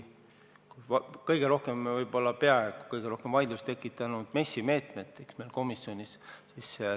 Praegu on meil komisjonis peaaegu kõige rohkem vaidlust tekitanud MES-i meetmed.